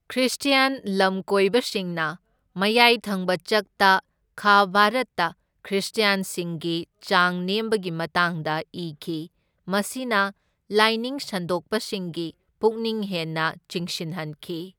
Christian ꯂꯝꯀꯣꯏꯕꯁꯤꯡꯅ ꯃꯌꯥꯏ ꯊꯪꯕ ꯆꯛꯇ ꯈꯥ ꯚꯥꯔꯠꯇ ꯈ꯭ꯔꯤꯁꯇ꯭ꯌꯥꯟꯁꯤꯡꯒꯤ ꯆꯥꯡ ꯅꯦꯝꯕꯒꯤ ꯃꯇꯥꯡꯗ ꯏꯈꯤ, ꯃꯁꯤꯅ ꯂꯥꯏꯅꯤꯡ ꯁꯟꯗꯣꯛꯄꯁꯤꯡꯒꯤ ꯄꯨꯛꯅꯤꯡ ꯍꯦꯟꯅ ꯆꯤꯡꯁꯤꯟꯍꯟꯈꯤ꯫